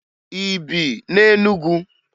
Ị bi na Enugwu?